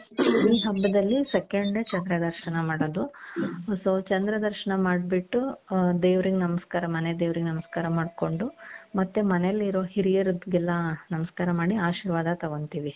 ಈ ಹಬ್ಬದಲ್ಲಿ second day ಚಂದ್ರ ದರ್ಶನ ಮಾಡೋದು ಅ so ಚಂದ್ರ ದರ್ಶನ ಮಾಡ್ಬಿಟ್ಟು ಅ ದೇವರಿಗೆ ನಮಸ್ಕಾರ ಮನೆ ದೇವರಿಗೆ ನಮಸ್ಕಾರ ಮಾಡ್ಕೊಂಡು ಮತ್ತೆ ಮನೇಲಿರೋ ಹಿರಿಯರಿಗೆಲ್ಲಾ ನಮಸ್ಕಾರ ಮಾಡಿ ಆಶೀರ್ವಾದ ತಗೊಂತೀವಿ.